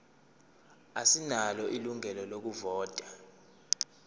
asinalo ilungelo lokuvota